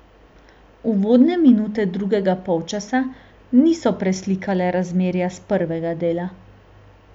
Uvodne minute drugega polčasa niso preslikale razmerja s prvega dela.